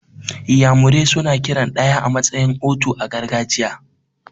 Iyamure suna kiran ɗaya a matsayin 'otu' a gargajiya.